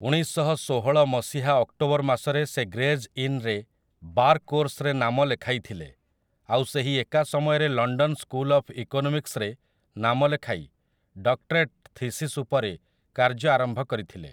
ଉଣେଇଶଶହଷୋହଳ ମସିହା ଅକ୍ଟୋବର ମାସରେ ସେ ଗ୍ରେଜ୍ ଇନରେ ବାର୍ କୋର୍ସରେ ନାମ ଲେଖାଇଥିଲେ, ଆଉ ସେହି ଏକା ସମୟରେ ଲଣ୍ଡନ୍ ସ୍କୁଲ୍‌ ଅଫ୍ ଇକୋନୋମିକ୍ସରେ ନାମ ଲେଖାଇ ଡକ୍ଟରେଟ୍ ଥିସିସ୍ ଉପରେ କାର୍ଯ୍ୟ ଆରମ୍ଭ କରିଥିଲେ ।